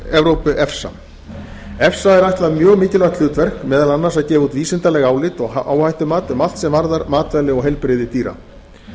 evrópu efsa efsa er ætlað mjög mikilvægt hlutverk meðal annars að gefa út vísindaleg álit og áhættumat um allt sem varðar matvæli og heilbrigði dýra